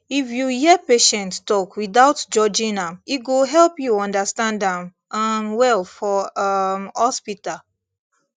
if you hear patient talk without judging am e go help you understand am um well for um hospital